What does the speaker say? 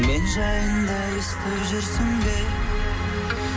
мен жайында естіп жүрсің бе